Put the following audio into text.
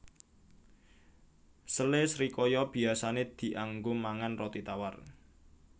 Sele srikaya biyasané dianggo mangan roti tawar